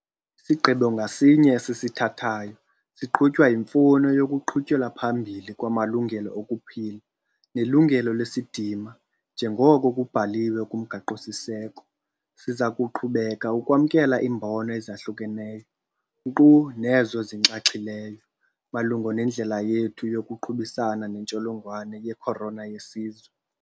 Isigqibo ngasinye esisithathayo siqhutywa yimfuno yokuqhutyelwa phambili kwamalungelo okuphila nelungelo lesidima njengoko kubhaliwe kuMgaqo-siseko. Siza kuqhubeka ukwamkela iimbono ezahlukeneyo - nkqu nezo zinxaxhileyo - malunga nendlela yethu yokuqubisana netsholongwane ye-corona yesizwe.